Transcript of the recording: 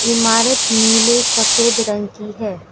इमारत नीले सफ़ेद रंग की है।